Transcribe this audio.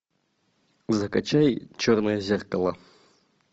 закачай черное зеркало